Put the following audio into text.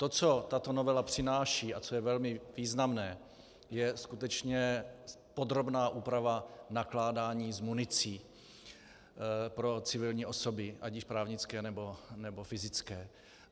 To, co tato novela přináší a co je velmi významné, je skutečně podrobná úprava nakládání s municí pro civilní osoby, ať již právnické, nebo fyzické.